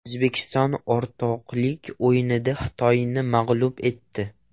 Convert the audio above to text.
O‘zbekiston o‘rtoqlik o‘yinida Xitoyni mag‘lub etdi.